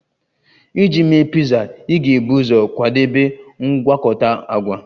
Iji mee piza, ị ga-ebu ụzọ kwadebe mgwakota agwa